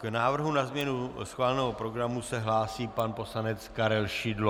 K návrhu na změnu schváleného programu se hlásí pan poslanec Karel Šidlo.